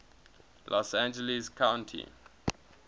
los angeles county